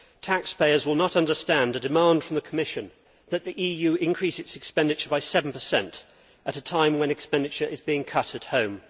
Taxpayers will not understand the demand from the Commission that the EU increase its expenditure by 7 at a time when expenditure is being cut at home.